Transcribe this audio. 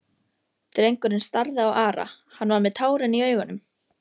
Drengurinn starði á Ara, hann var með tárin í augunum.